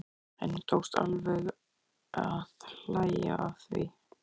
Henni tókst alveg að hlæja að því.